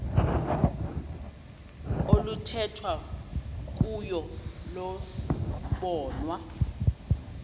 oluthethwa kuyo lobonwa